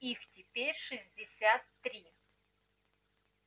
их теперь шестьдесят три